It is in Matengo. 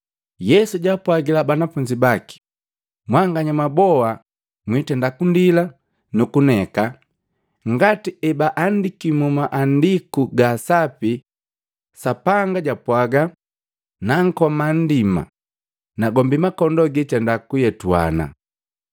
Yesu jaapwagila banafunzi baki, “Mwanganya mwaboa mwindenda kundila nukuneka ngati ebaandiki mu Maandiku ga Sapi Sapanga jupwaga, ‘Nankoma nndima, nagombi makondoo gitenda kuyetuana.’